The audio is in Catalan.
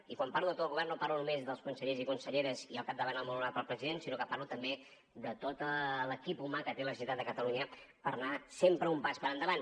i quan parlo de tot el govern no parlo només dels consellers i conselleres i al capdavant el molt honorable president sinó que parlo també de tot l’equip humà que té la generalitat de catalunya per anar sempre un pas per endavant